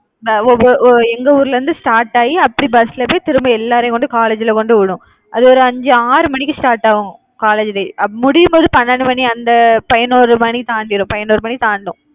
எங்க ஊர்ல இருந்து start ஆகி அப்படி bus ல போய் திரும்ப எல்லாரையும் கொண்டு போய் college ல கொண்டுவிடும். அது ஒரு அஞ்சு ஆறு மணிக்கு start ஆகும் college லயே முடியும் போது பன்னெண்டு மணி அந்த பதினோரு மணி தாண்டிரும். பதினோரு மணி தாண்டும்